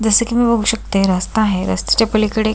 जस की मी बघू शकते रास्ता आहे रस्त्याच्या पलीकडे--